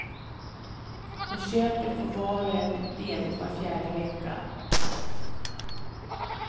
På köpet får var och en ledigt var fjärde vecka.